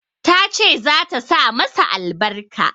Ta ce za ta sa masa albarka.